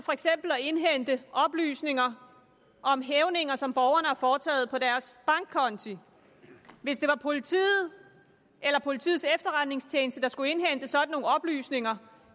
indhente oplysninger om hævninger som borgerne har foretaget på deres bankkonti hvis det var politiet eller politiets efterretningstjeneste der skulle indhente sådan nogle oplysninger